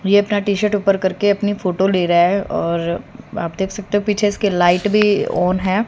ये अपना टी_शर्ट ऊपर करके अपनी फोटो ले रहा है और आप देख सकते हो पीछे इसके लाइट भी ऑन है।